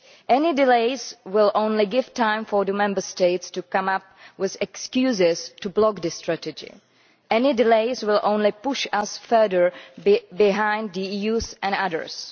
Any delays will only give time for the Member States to come up with excuses to block this strategy. Any delays will only push us further behind the US and others.